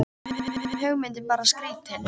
Nú finnst honum hugmyndin bara skrýtin.